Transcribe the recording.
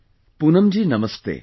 Poonam ji Namaste